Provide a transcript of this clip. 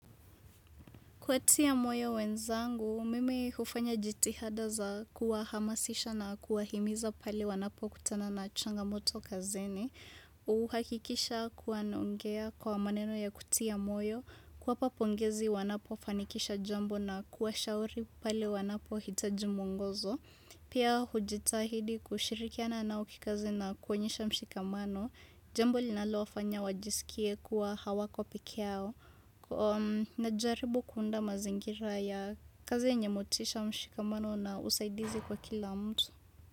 Kuwatia moyo wenzangu, mimi hufanya jitihada za kuwahamasisha na kuwa himiza pale wanapo kutana na changa moto kazini. Huhakikisha kuwa naongea kwa maneno ya kutia moyo. Kuwapa pongezi wanapo fanikisha jambo na kuwa shauri pale wanapo hitaji mwngozo. Pia hujitahidi kushirikiana nao kikazi na kuonyesha mshikamano. Jambo linalo wafanya wajisikie kuwa hawako pekeyao. Na jaribu kuunda mazingira ya kazi yenye motisha mshikamano na usaidizi kwa kila mtu.